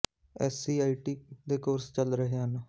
SC I T ਦੇ course ਚੱਲ ਰਹੇ ਹਨ